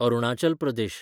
Arunachal Pradesh